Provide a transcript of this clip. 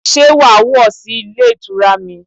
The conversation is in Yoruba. Sé wà á wọ̀ sí Ilé Ìtura mi